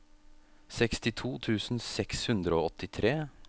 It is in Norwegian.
sekstito tusen seks hundre og åttitre